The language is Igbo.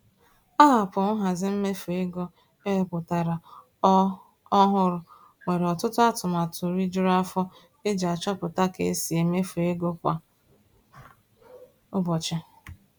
Aapụ nhazi mmefu ego e wepụtara ọ ọ hụrụ nwere ọtụtụ atụmatụ rijuru afọ eji achọpụta ka e si emefu ego kwa ụbọchị.